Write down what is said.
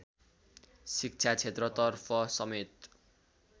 शिक्षा क्षेत्रतर्फ समेत